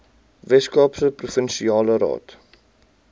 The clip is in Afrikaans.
weskaapse provinsiale raad